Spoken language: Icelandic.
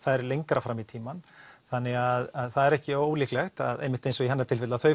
lengra fram í tímann þannig að það er ekki ólíklegt að einmitt eins og í hennar tilfelli að þau